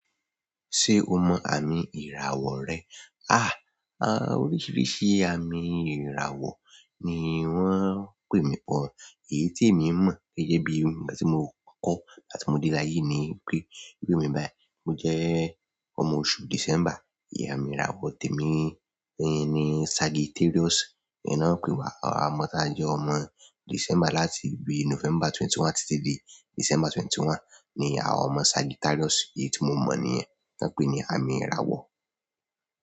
Ṣé o mọ àmì ìràwọ̀ rẹ? Oríṣìíríṣìí àmì ìràwọ̀ ni wọ́n ń pè mí pọ̀, èyí tí èmi mọ̀ gẹ́gẹ́ bí nígbà tí mo kọ́ nígbà tí mo dé ile áyé ni pé, bi emi báyìí mo jẹ́ ọmọ oṣù December, ìyẹn amí ìràwọ̀ tèmi ni Sagittarius. Ẹ náà ń pe wa ọmọ tá jẹ́ ọmọ December láti bi November ọ̀kanlélógún títí dé December ọ̀kanlélógún ni àwọn ọmọ Sagittarius. Èyí tí mo mọ̀ ní yen, to ń pè ní àmì ìràwọ̀.